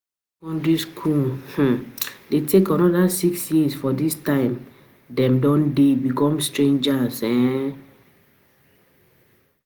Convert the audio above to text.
secondary school um de take another six years by dis time dem don um de become teenagers um